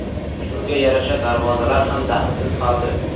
Shunga yarasha darvozalar ham dahlsiz qoldi.